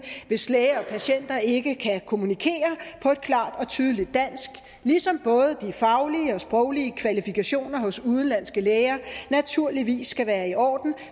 hvis læger og patienter ikke kan kommunikere på et klart og tydeligt dansk ligesom både de faglige og sproglige kvalifikationer hos udenlandske læger naturligvis skal være i orden